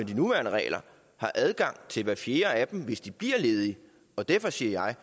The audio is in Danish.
de nuværende regler har adgang til hver fjerde af dem hvis de bliver ledige og derfor siger jeg